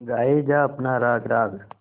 गाये जा अपना राग राग